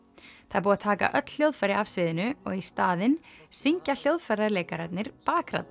það er búið að taka öll hljóðfæri af sviðinu og í staðinn syngja hljóðfæraleikararnir